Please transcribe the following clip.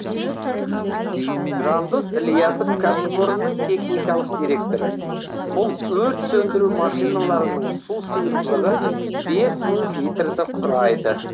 жандос ілиясов кәсіпорынның техникалық директоры бұл өрт сөндіру машиналарының су сыйымдылығы бес мың литрді құрайды